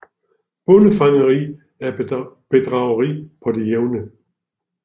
Bondefangeri er bedrageri på det jævne